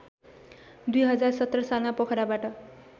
२०१७ सालमा पोखराबाट